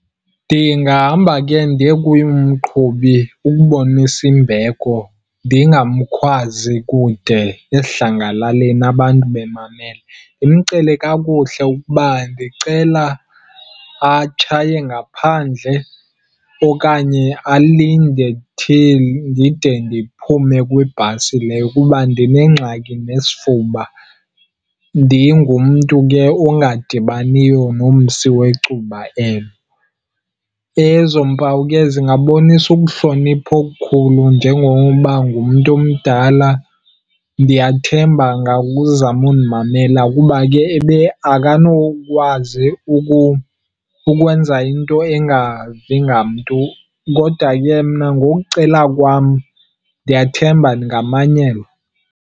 Ndingahamba ke ndiye kuye umqhubi ukubonisa imbeko, ndingamkhwazi kude esidlangalaleni abantu bemamele. Ndimcele kakuhle ukuba ndicela atshaye ngaphandle okanye alinde till ndide ndiphume kwibhasi leyo kuba ndinengxaki nesifuba, ndingumntu ke ongadibaniyo nomsi wecuba elo. Ezo mpawu ke zingabonisa ukuhlonipha okukhulu njengoba ngumntu omdala, Ndiyathemba angakuzama undimamela kuba ke akanokwazi ukwenza into engavi ngamntu, kodwa ke mna ngokucela kwam ndiyathemba ndingamanyelwa.